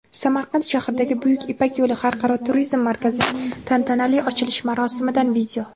Samarqand shahridagi "Buyuk ipak yo‘li" xalqaro turizm markazining tantanali ochilish marosimidan video.